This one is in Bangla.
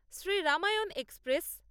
শ্রী রামায়ণ এক্সপ্রেস